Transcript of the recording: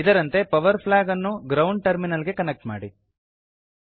ಇದರಂತೆ power flag ಅನ್ನು ground terminal ಗೆ ಕನೆಕ್ಟ್ ಮಾಡಿ